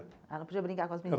Ela podia brincar com as